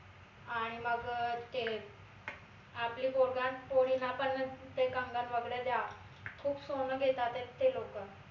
आणि मग अह ते आपली पोरगा पोरीला आपणच ते कंगन वगैरे द्यावं खूप सोन घेतातायत ते लोक